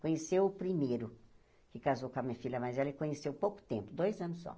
Conheceu o primeiro, que casou com a minha filha mais velha, ele conheceu pouco tempo, dois anos só.